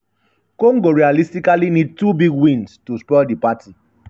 congo realistically need two big wins to spoil di party.